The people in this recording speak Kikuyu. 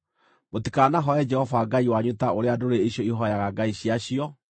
Mũtikanahooe Jehova Ngai wanyu ta ũrĩa ndũrĩrĩ icio ihooyaga ngai ciacio.